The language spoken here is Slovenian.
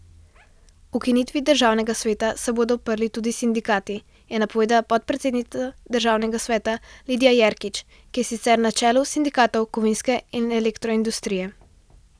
Ukinitvi državnega sveta se bodo uprli tudi sindikati, je napovedala podpredsednica državnega sveta Lidija Jerkič, ki je sicer na čelu sindikatov kovinske in elektroindustrije.